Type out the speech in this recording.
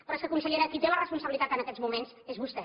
però és que consellera qui té la responsabilitat en aquests moments és vostè